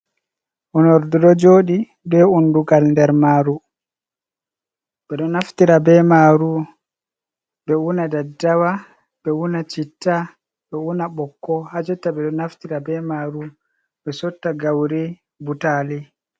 Unordu ɗo joɗi be undugal nder maru ɓeɗo naftira be maru ɓe una Daddawa, ɓe una citta, ɓe una ɓokko, ha jotta ɓeɗo naftira be maru ɓe sotta gauri, butaali.